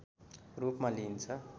रूपमा लिइन्छ